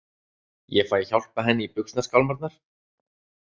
Ég fæ að hjálpa henni í buxnaskálmarnar.